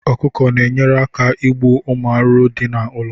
Ọkụkọ na enyere aka ịgbu ụmụ arụrụ dị na ụlọ